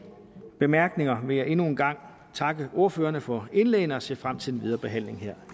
bemærkninger vil jeg endnu en gang takke ordførerne for indlæggene og jeg ser frem til den videre behandling her